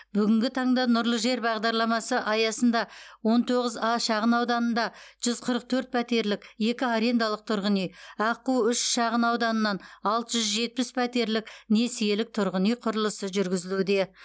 бүгінгі таңда нұрлы жер бағдарламасы аясында он тоғыз а шағынауданында жүз қырық төрт пәтерлік екі арендалық тұрғын үй аққу үш шағынауданынан алты жүз жетпіс пәтерлік несиелік тұрғын үй құрылысы жүргізілуде